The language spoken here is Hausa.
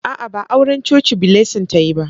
A'a, ba auran coci Blessing ta yi ba.